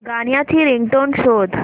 गाण्याची रिंगटोन शोध